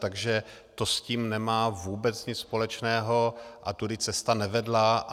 Takže to s tím nemá vůbec nic společného a tudy cesta nevedla.